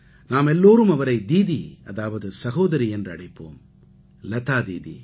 நாமெல்லாரும் அவரை தீதி அதாவது சகோதரி என்று அழைப்போம் லதா தீதி